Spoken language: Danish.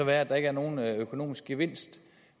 være at der ikke er nogen økonomisk gevinst